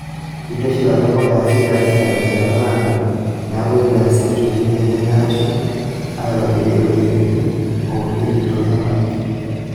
Eitu eshilari mpuka e asili e Afrika terishata naado neeku eitu easi uchunguzi enye aashu eitobiri olkereti ounieki toohemai.